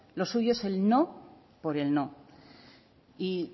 lo suyo es el no por el no y